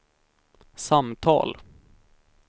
samtal